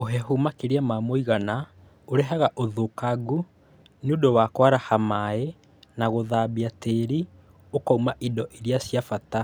Ũhehu makĩria ma mũigana ũrehaga ũthũkangu niũndũ wa kwaraha maĩ na gũthambia tĩĩri ũkauma indo iria cia bata